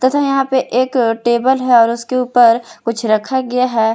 तथा यहां पे एक टेबल है और उसके ऊपर कुछ रखा गया है।